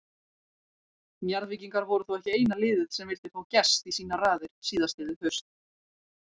Njarðvíkingar voru þó ekki eina liðið sem vildi fá Gest í sínar raðir síðastliðið haust.